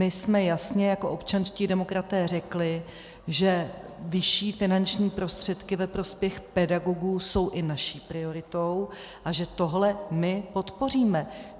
My jsme jasně jako občanští demokraté řekli, že vyšší finanční prostředky ve prospěch pedagogů jsou i naší prioritou a že tohle my podpoříme.